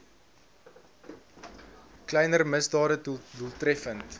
kleiner misdade doeltreffend